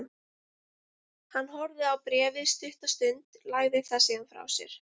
Hann horfði á bréfið stutta stund, lagði það síðan frá sér.